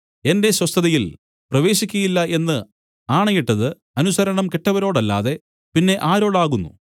എന്റെ സ്വസ്ഥതയിൽ പ്രവേശിക്കയില്ല എന്നു ആണയിട്ടത് അനുസരണംകെട്ടവരോടല്ലാതെ പിന്നെ ആരോടാകുന്നു